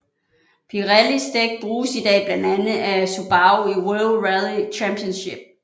Pirellis dæk bruges i dag blandt andet af Subaru i World Rally Championship